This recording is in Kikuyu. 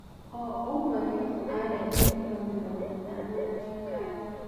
O-ũmwe witũ arehire kiro mĩrongoĩtano ya cukari.